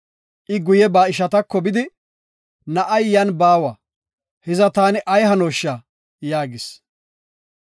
I guye ba ishatako bidi, “Na7ay yan baawa; hiza, taani ay hanosha?” yaagis.